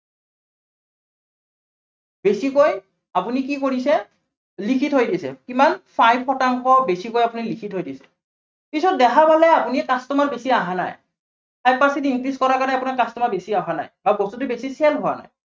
বেছিকৈ আপুনি কি কৰিছে, লিখি থৈ দিছে। কিমান five শতাংশ বেছিকৈ আপুনি লিখি থৈ দিছে। পিছত দেখা পালে আপুনি customer বেছি আহা নাই। five percentage increase কৰাৰ কাৰনে আপোনাৰ customer বেছিকৈ অহা নাই। আৰু বস্তুটো বেছি sale হোৱা নাই।